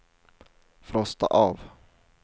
frosta av